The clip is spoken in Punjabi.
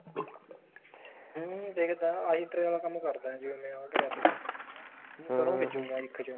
ਐਵੇਂ ਵੀ ਦੇਖਦਾ ਆਹੀ ਤੇਰੇ ਆਲਾ ਕੰਮ ਕਰਦਾ ਜਿਵੇਂ ਆਹ ਕਰਿਆ ਤਾ ਤੈ ਬੀਜੂਗਾ ਇੱਖ ਚ